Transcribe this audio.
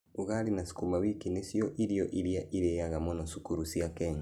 Ugali na sukuma wiki nĩcio irio iria irĩaga mũno cukuru cia Kenya.